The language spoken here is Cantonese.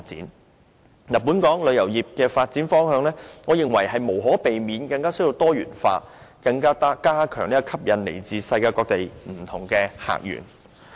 我認為，本港旅遊業的發展方向，無可避免需要更多元化，以加強吸引來自世界各地的不同客源。